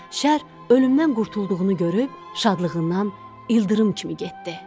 Şər ölümdən qurtulduğunu görüb, şadlığından ildırım kimi getdi.